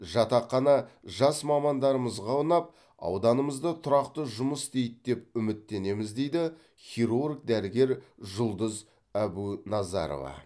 жатақхана жас мамандарымызға ұнап ауданымызды тұрақты жұмыс істейді деп үміттенеміз дейді хирург дәрігер жұлдыз әбуназарова